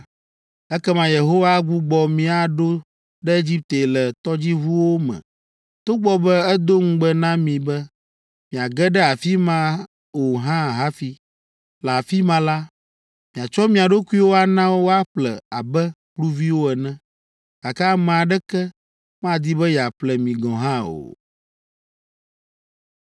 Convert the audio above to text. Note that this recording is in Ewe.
Ekema Yehowa agbugbɔ mi aɖo ɖe Egipte le tɔdziʋuwo me togbɔ be edo ŋugbe na mi be miagade afi ma o hã hafi! Le afi ma la, miatsɔ mia ɖokuiwo ana woaƒle abe kluviwo ene, gake ame aɖeke madi be yeaƒle mi gɔ̃ hã o.”